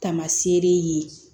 Tamasere ye yen